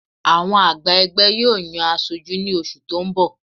Àwọn àgbà ẹgbẹ́ yóò yan aṣojú ní oṣù tó ń bọ̀